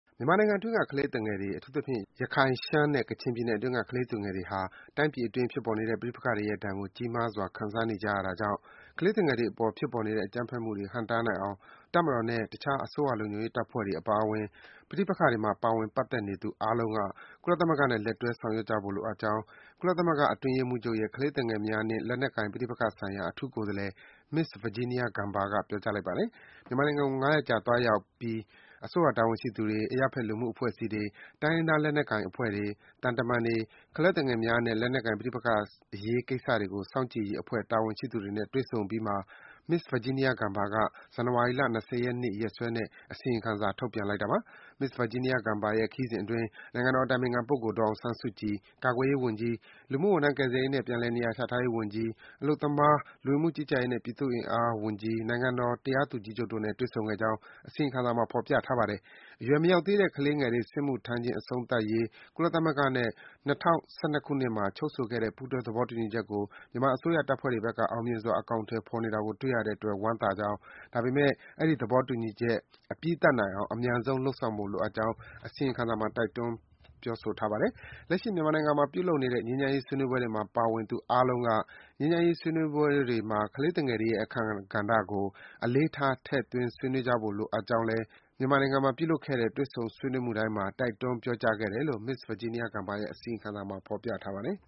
မြန်မာနိုင်ငံအတွင်းက ကလေးသူငယ်တွေ၊ အထူးသဖြင့် ရခိုင်၊ ရှမ်းနဲ့ ကချင်ပြည်နယ်အတွင်းက ကလေးသူငယ်တွေဟာ တိုင်းပြည်အတွင်း ဖြစ်ပေါ်နေတဲ့ ပဋိပက္ခတွေရဲ့ဒဏ်ကို ကြီးမားစွာ ခံစားနေကြရတာကြောင့် ကလေးသူငယ်တွေအပေါ် ဖြစ်ပေါ်နေတဲ့ အကြမ်းဖက်မှုတွေ ဟန့်တားနိုင်အောင် တပ်မတော်နဲ့ တခြား အစိုးရလုံခြုံရေးတပ်ဖွဲ့တွေ အပါအဝင် ပဋိပက္ခတွေမှာ ပါဝင် ပတ်သက်နေသူအားလုံးက ကုလသမဂ္ဂနဲ့ လက်တွဲ ဆောင်ရွက်ကြဖို့လိုအပ်ကြောင်း ကုလသမဂ္ဂအတွင်းရေးမှူးချုပ်ရဲ့ ကလေးသူငယ်များနှင့် လက်နက်ကိုင် ပဋိပက္ခဆိုင်ရာ အထူးကိုယ်စားလှယ် Ms. Virginia Gamba က ပြောကြားလိုက်ပါတယ်။ မြန်မာနိုင်ငံကို ၅ ရက်ကြာသွားရောက်ပြီး အစိုးရတာဝန်ရှိသူတွေ၊ အရပ်ဘက် လူမှုအဖွဲ့အစည်းတွေ၊ တိုင်းရင်းသားလက်နက်ကိုင် အဖွဲ့တွေ၊ သံတမန်တွေ၊ ကလေးသူငယ်များနှင့် လက်နက်ကိုင် ပဋိပက္ခဆိုင်ရာအရေးကိစ္စတွေကို စောင့်ကြည့်ရေးအဖွဲ့ တာဝန်ရှိသူတွေနဲ့ တွေ့ဆုံအပြီးမှာ Ms. Virginia Gamba က ဇန်နဝါရီလ ၂၀ ရက်နေ့ ရက်စွဲနဲ့ အစီရင်ခံစာ ထုတ်ပြန်လိုက်တာပါ။ Ms. Virginia Gamba ရဲ့ ခရီးစဉ်အတွင်း နိုင်ငံတော်အတိုင်ပင်ခံပုဂ္ဂိုလ် ဒေါ်အောင်ဆန်းစုကြည်၊ ကာကွယ်ရေးဝန်ကြီး၊ လူမှုဝန်ထမ်း ကယ်ဆယ်ရေးနှင့် ပြန်လည်နေရာချထားရေးဝန်ကြီး၊ အလုပ်သမား၊ လူဝင်မှုကြီးကြပ်ရေးနှင့် ပြည်သူ့အင်အားဝန်ကြီး၊ နိုင်ငံတော် တရားသူကြီးချုပ်တို့နဲ့ တွေ့ဆုံခဲ့ကြောင်း အစီရင်ခံစာမှာ ဖော်ပြထားပါတယ်။ အရွယ်မရောက်သေးတဲ့ ကလေးတွေစစ်မှုထမ်းခြင်း အဆုံးသတ်ရေး ကုလသမဂ္ဂနဲ့ ၂၀၁၂ ခုနှစ်မှာ ချုပ်ဆိုခဲ့တဲ့ ပူးတွဲ သဘောတူညီချက်ကို မြန်မာအစိုးရတပ်ဖွဲ့တွေဘက်က အောင်မြင်စွာ အကောင်အထည်ဖော်နေတာကို တွေ့ရတဲ့အတွက် ဝမ်းသာကြောင်း၊ ဒါပေမယ့် အဲဒီ သဘောတူညီချက် အပြီးသတ်နိုင်အောင် အမြန်ဆုံး လုပ်ဆောင်ဖို့ လိုအပ်ကြောင်း အစီရင်ခံစာမှာ တိုက်တွန်းထားပါတယ်။ လက်ရှိ မြန်မာနိုင်ငံမှာ ပြုလုပ်နေတဲ့ ငြိမ်းချမ်းရေးဆွေးနွေးပွဲတွေမှာ ပါဝင်သူအားလုံးက ငြိမ်းချမ်းရေးဆွေးနွေးမှုတွေမှာ ကလေးငယ်တွေရဲ့အခန်းကဏ္ဍကို အလေးထား ထည့်သွင်း ဆွေးနွေးကြဖို့လိုအပ်ကြောင်း မြန်မာနိုင်ငံမှာ ပြုလုပ်ခဲ့တဲ့ တွေ့ဆုံမှုတိုင်းမှာ တိုက်တွန်း ပြောကြားခဲ့ကြောင်းလည်း Ms. Virginia Gamba ရဲ့ အစီရင်ခံစာမှာ ဖော်ပြထားပါတယ်။